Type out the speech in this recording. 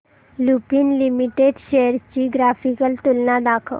Lupin limited shares ची graphical तुलना दाखव